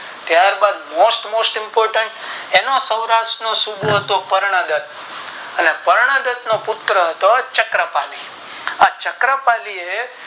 ત્યાર બાદ Most most important તેનો સૌરાટ્ર નો સૂબો હતો કરણગત અને રાગત નો પુત્ર હતો ચક્ર પાલી ચક્કર પાલી એ